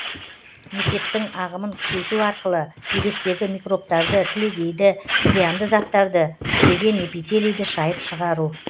несептің ағымын күшейту арқылы бүйректегі микробтарды кілегейді зиянды заттарды түлеген эпителийді шайып шығару